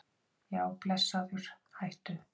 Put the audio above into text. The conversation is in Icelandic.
Já blessaður hættu!